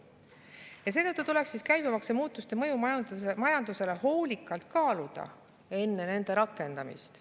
Ja seetõttu tuleks käibemaksumuudatuste mõju majandusele hoolikalt kaaluda enne nende rakendamist.